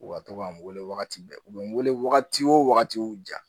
U ka to ka n wele wagati bɛɛ u bɛ n wele wagati wo wagatiw ja